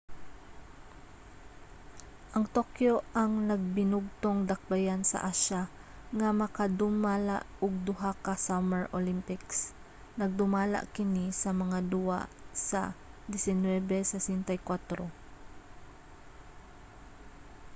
ang tokyo ang nagbinugtong dakbayan sa asya nga makadumala og duha ka summer olympics nagdumala kini sa mga duwa sa 1964